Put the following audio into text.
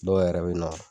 Dɔw yɛrɛ bɛ na